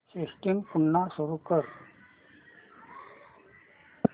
system पुन्हा सुरू कर